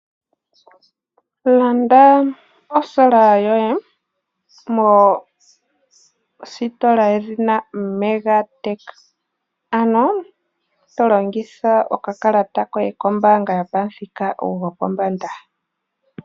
Landa osola yoye mositola yedhina Mega Tech. Ano to longitha okakalata koye kombaanga yopamuthika gopombanda.